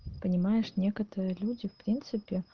понимаешь некоторые люди в принципе